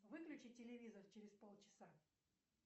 выключи телевизор через пол часа